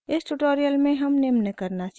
इस tutorial में हम निम्न करना सीखेंगे: